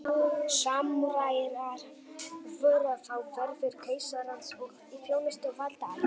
samúræjar voru þá verðir keisarans og í þjónustu valdaætta